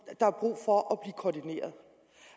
der er brug for